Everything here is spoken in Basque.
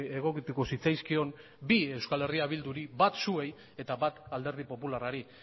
egokituko zitzaizkion bi euskal herria bilduri bat zuei eta bat alderdi popularrari